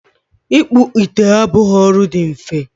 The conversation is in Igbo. ịkpụ ite abụghị ọrụ dị mfe